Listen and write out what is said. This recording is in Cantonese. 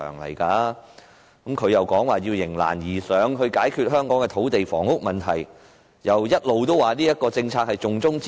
他更說要迎難而上，解決香港的土地房屋問題，還一直說這項政策是重中之重。